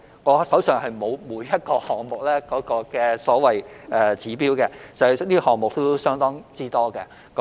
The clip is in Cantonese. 我手上並沒有每一個項目的所謂"指標"，因為項目亦相當多。